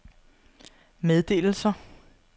meddelelser